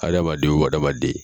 Adamaden o adamaden